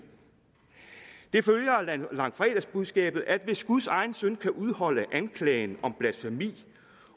det følger af langfredagsbudskabet at hvis guds egen søn kan udholde anklagen om blasfemi